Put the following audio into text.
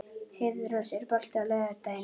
Heiðrós, er bolti á laugardaginn?